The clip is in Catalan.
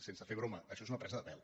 sense fer broma això és una presa de pèl